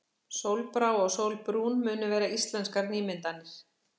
Sólbrá og Sólbrún munu vera íslenskar nýmyndanir.